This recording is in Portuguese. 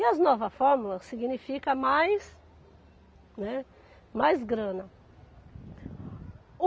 E as novas fórmulas significam mais, né, mais grana.